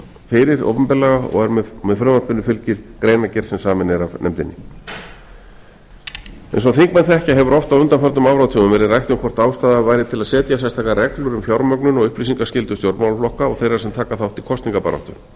fyrir opinberlega og með frumvarpinu fylgir greinargerð sem samin er af nefndinni eins og þingmenn þekkja hefur oft á undanförnum áratugum verið rætt um hvort ástæða væri til að setja sérstakar reglur um fjármögnun og upplýsingaskyldu stjórnmálaflokka og þeirra sem taka þátt í